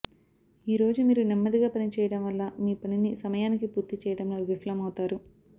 ఈ రోజు మీరు నెమ్మదిగా పని చేయడం వల్ల మీ పనిని సమయానికి పూర్తి చేయడంలో విఫలమవుతారు